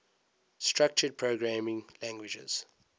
structured programming languages